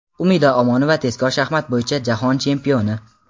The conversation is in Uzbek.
Umida Omonova tezkor shaxmat bo‘yicha jahon chempioni.